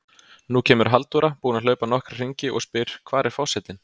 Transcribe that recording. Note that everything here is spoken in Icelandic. Nú kemur Halldóra, búin að hlaupa nokkra hringi, og spyr: Hvar er forsetinn?